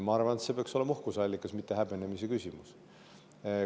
Ma arvan, et see peaks olema uhkuse allikas, mitte häbenemise põhjus.